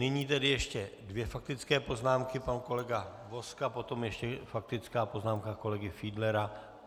Nyní tedy ještě dvě faktické poznámky, pan kolega Vozka, potom ještě faktická poznámka kolegy Fiedlera.